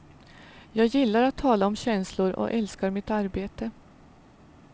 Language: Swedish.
Jag gillar att tala om känslor och älskar mitt arbete.